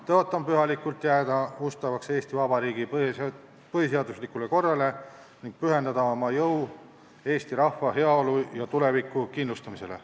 Tõotan pühalikult jääda ustavaks Eesti Vabariigi põhiseaduslikule korrale ning pühendada oma jõu eesti rahva heaolu ja tuleviku kindlustamisele.